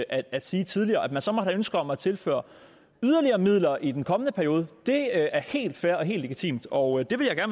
at sige tidligere at man så måtte have et ønske om at tilføre yderligere midler i den kommende periode er helt fair og helt legitimt og det vil jeg